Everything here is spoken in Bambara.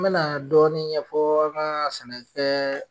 N bena dɔɔni ɲɛfɔ n ka sɛnɛ kɛɛ